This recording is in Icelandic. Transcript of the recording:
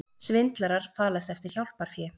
Svindlarar falast eftir hjálparfé